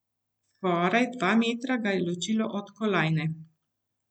Skoraj dva metra ga je ločilo od kolajne.